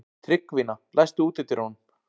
Tryggvína, læstu útidyrunum.